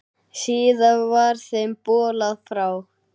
Síðar var þeim bolað frá.